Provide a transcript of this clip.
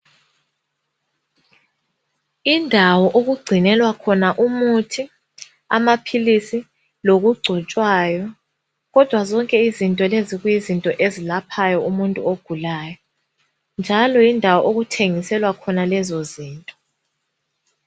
Indawo okugcinelwa khona umuthi, amaphilisi lokugcotshwayo kodwa izinto lezi kuyizinto ezilaphayo umuntu ogulayo njalo yindawo okuthengiselwa khona lezozinto.